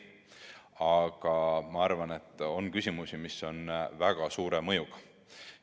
Aga ma arvan, et on küsimusi, mis on väga suure mõjuga.